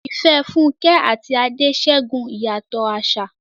Ìfẹ́ Funke àti Ade ṣẹ́gun ìyàtọ̀ àṣà.